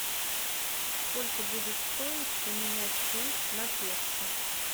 сколько будет стоить поменять фунт на песо